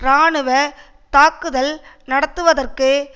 இராணுவ தாக்குதல் நடத்துவதற்கு